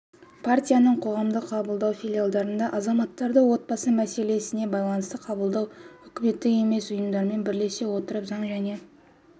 партияның қоғамдық қабылдау филиалдарында азаматтарды отбасы мәселесіне байланысты қабылдау үкіметтік емес ұйымдармен бірлесе отырып заң және